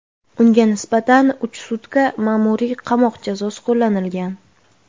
Unga nisbatan uch sutka ma’muriy qamoq jazosi qo‘llanilgan.